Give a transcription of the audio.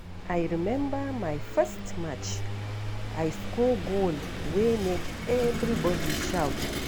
I remember my first match; I score goal wey make everybody shout.